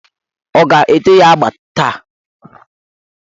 Ọ ga-ete ya agba taa?